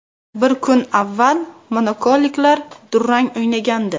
Bir kun avval monakoliklar durang o‘ynagandi.